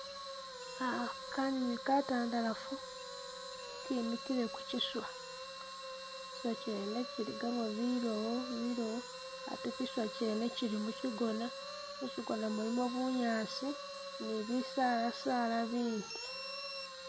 Ah kanywinywi katandalafu kemikile ku kiswa, kiswa kyene kiligamu bilowo milowo, kiswa kyene kili mukigona, mukigona mulimu bunyaasi ni bisaala saala bindi.